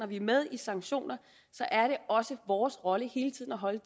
vi er med i sanktioner er det også vores rolle hele tiden at holde